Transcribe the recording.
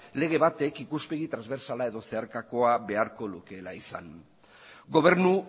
lege bat ikuspegi transbertsala edo zeharkakoa beharko lukeela izan gobernu